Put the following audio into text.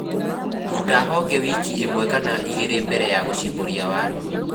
Ruta honge wiki ĩmwe kana igĩlĩ mbele ya gũshimbũria waru